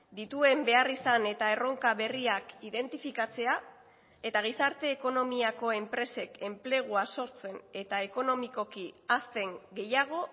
dituen beharrizan eta erronka berriak identifikatzea eta gizarte ekonomiako enpresek enplegua sortzen eta ekonomikoki hazten gehiago